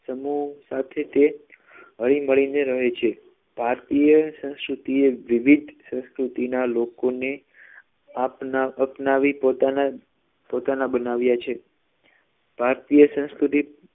સમૂહ સાથે તે હળી મળીને રહે છે ભારતીય સંસ્કૃતિ એ એક વિવિધ સંસ્કૃતિના લોકોને આપના અપનાવી પોતાના પોતાના બનાવ્યા છે ભારતીય સંસ્કૃતિ